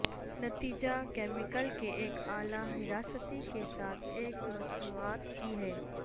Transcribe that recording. نتیجہ کیمیکلز کے ایک اعلی حراستی کے ساتھ ایک مصنوعات کی ہے